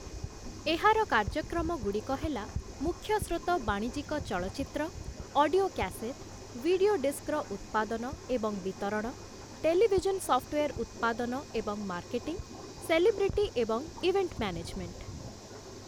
ଏହାର କାର୍ଯ୍ୟକ୍ରମଗୁଡ଼ିକ ହେଲା ମୁଖ୍ୟ ସ୍ରୋତ ବାଣିଜ୍ୟିକ ଚଳଚ୍ଚିତ୍ର, ଅଡିଓ କ୍ୟାସେଟ୍, ଭିଡିଓ ଡିସ୍କର ଉତ୍ପାଦନ ଏବଂ ବିତରଣ, ଟେଲିଭିଜନ୍ ସଫ୍ଟୱେର୍ ଉତ୍ପାଦନ ଏବଂ ମାର୍କେଟିଂ, ସେଲିବ୍ରିଟି ଏବଂ ଇଭେଣ୍ଟ ମ୍ୟାନେଜମେଣ୍ଟ ।